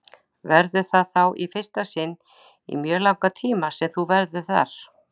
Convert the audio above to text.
Verður það þá í fyrsta sinn í mjög langan tíma sem þú verður þar?